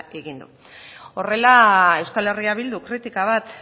egin du horrela euskal herria bilduk kritika bat